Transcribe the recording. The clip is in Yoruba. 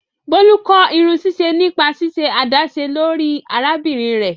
Bolu kọ irunsiṣe nipa ṣiṣe adaṣe lori arabinrin rẹ.